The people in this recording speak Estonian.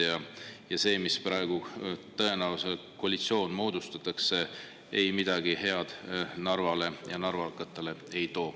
Ja see koalitsioon, mis praegu tõenäoliselt moodustatakse, midagi head Narvale ja narvakatele ei too.